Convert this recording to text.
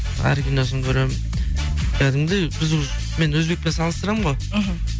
әр киносын көремін кәдімгідей біз уже мен өзбекпен салыстырамын ғой мхм